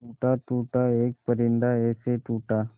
टूटा टूटा एक परिंदा ऐसे टूटा